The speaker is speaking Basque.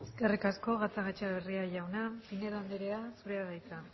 eskerrik asko gatzagaetxebarria jauna pinedo andrea zurea da hitza